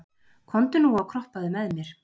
komdu nú og kroppaðu með mér